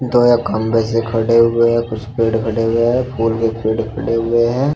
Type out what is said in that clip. दो ये खंभे खड़े हुए हैं कुछ पेड़ खड़े हुए हैं फूल के पेड़ खड़े हुए हैं।